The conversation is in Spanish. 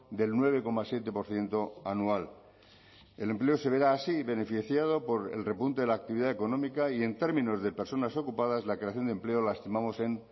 del nueve coma siete por ciento anual el empleo se verá así beneficiado por el repunte de la actividad económica y en términos de personas ocupadas la creación de empleo la estimamos en